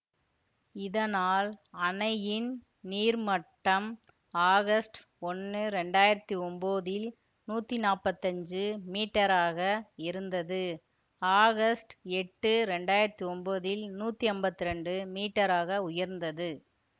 இதனால் அணையின் நீர்மட்டம் ஆகஸ்ட் ஒன்னு இரண்டாயிரத்தி ஒன்போதில் நூத்தி நாப்பத்தி அஞ்சு மீட்டராக இருந்தது ஆகஸ்ட் எட்டு இரண்டாயிரத்தி ஒன்போதில் நூத்தி அம்பத்தி இரண்டு மீட்டராக உயர்ந்தது